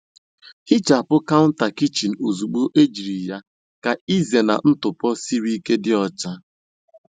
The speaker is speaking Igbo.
Hichapụ counter kichin ozugbo ejiri ya ka ịzena ntụpọ siri ike dị ọcha.